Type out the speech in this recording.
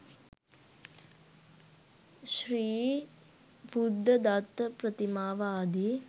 ශ්‍රී බුද්ධදත්ත ප්‍රතිමාව, ආදී